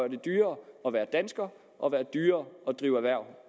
dyrere at være danskere og dyrere at drive erhverv